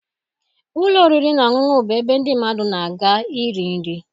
Ụlọ oriri na ọṅụṅụ bụ ebe ndị mmadụ na-aga iri nri